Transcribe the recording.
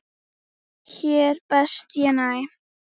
Hér best ég næ.